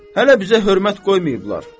Hələ bizə hörmət qoymayıblar.